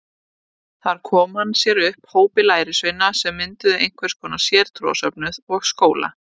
Þar kom hann sér upp hópi lærisveina sem mynduðu einhvers konar sértrúarsöfnuð og skóla.